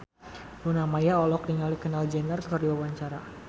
Luna Maya olohok ningali Kendall Jenner keur diwawancara